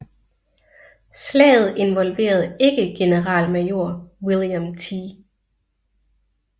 Slaget involverede ikke generalmajor William T